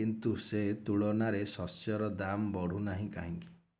କିନ୍ତୁ ସେ ତୁଳନାରେ ଶସ୍ୟର ଦାମ୍ ବଢୁନାହିଁ କାହିଁକି